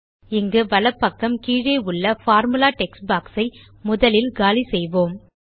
இங்கு வலப் பக்கம் கீழே உள்ள பார்முலா டெக்ஸ்ட் பாக்ஸ் ஐ முதலில் காலிசெய்வோம்